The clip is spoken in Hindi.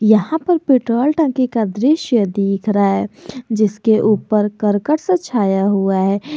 यहां पर पेट्रोल टंकी का दृश्य दिख रहा है जिसके ऊपर करकट से छाया हुआ है।